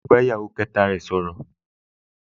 Yóò bá ìyàwó kẹta rẹ̀ sọ̀rọ̀